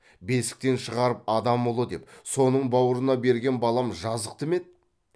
бесіктен шығарып адам ұлы деп соның баурына берген балам жазықты ма еді